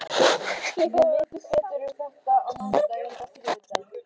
Við vitum betur um þetta á mánudaginn eða þriðjudaginn.